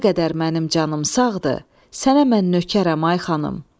Nə qədər mənim canım sağdır, sənə mən nökərəm, ay xanım.